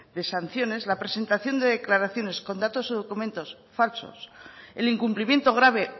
de sanciones la presentación de declaraciones con datos o documentos falsos el incumplimiento grave